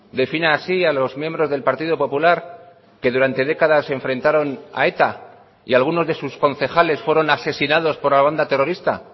defina así a los miembros del partido popular que durante décadas se enfrentaron a eta y algunos de sus concejales fueron asesinados por la banda terrorista